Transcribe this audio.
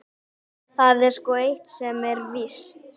Það er sko eitt sem er víst.